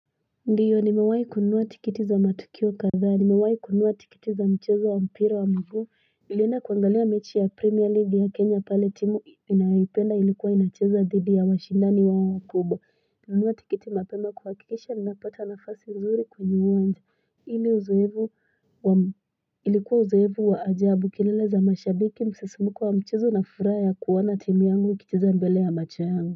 Ndiyo nimewahi kunua tiketi za matukio kadhaa nimewahi kunua tiketi za mchezo wa mpira wa miguu nilienda kuangalia mechi ya premier league ya kenya pale timu ninayoipenda ilikuwa inacheza dhidi ya washindani wao wakubwa nilinunua tiketi mapema kuhakikisha ninapata nafasi nzuri kwenye uwanja ili uzoefu wa ilikuwa uzoefu wa ajabu kilele za mashabiki msisimuko wa mchezo na furaha kuona timu yangu ikicheza mbele ya macho yangu.